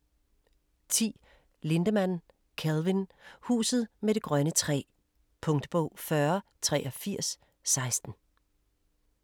10. Lindemann, Kelvin: Huset med det grønne træ Punktbog 408316